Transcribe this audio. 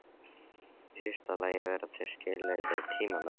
Í fyrsta lagi varða þau skilyrði tímamörk.